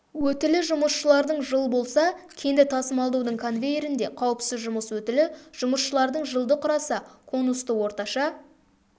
өтілі жұмысшылардың жыл болса кенді тасымалдаудың конвейерінде қауіпсіз жұмыс өтілі жұмысшылардың жылды құраса конусты орташа